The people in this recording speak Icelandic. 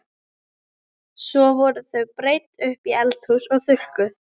Svo voru þau breidd upp í eldhús og þurrkuð.